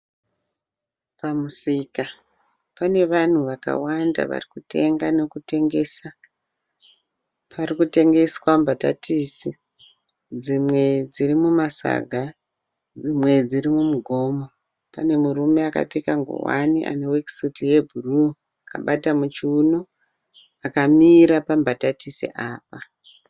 pamusika pane vanhu vakawanda varikutenga nekutengesa. Parikutengeswa mbatatisi, dzimwe dziri mumasaga dzimwe dziri mumugomo. Pane murume akapfeka ngowani ane worksuit yebhru akabata muchiwuno akamira pambatatisi apa.